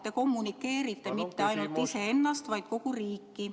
Te kommunikeerite mitte ainult iseennast, vaid kogu riiki.